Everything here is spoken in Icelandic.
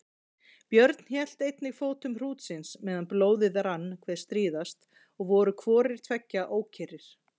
Björn hélt einnig fótum hrútsins meðan blóðið rann hve stríðast og voru hvorir tveggja ókyrrir.